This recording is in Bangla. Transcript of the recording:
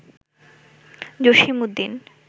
জসীমউদ্দীন